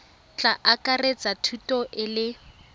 tla akaretsa thuto e le